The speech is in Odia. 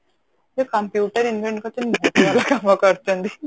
ଯେ computer invent କରିଛନ୍ତି ବହୁତ ଭଲ କାମ କରିଛନ୍ତି